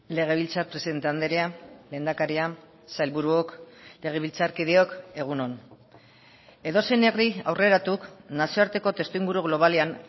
legebiltzar presidente andrea lehendakaria sailburuok legebiltzarkideok egun on edozein herri aurreratuk nazioarteko testuinguru globalean